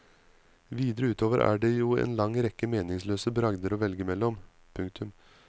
Videre utover er det jo en lang rekke meningsløse bragder å velge mellom. punktum